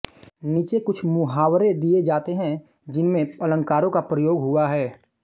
नीचे कुछ मुहावरे दिए जाते हैं जिनमें अलंकारों का प्रयोग हुआ है